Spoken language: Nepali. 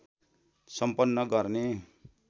सम्पन्न गर्ने